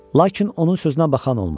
Lakin onun sözünə baxan olmur.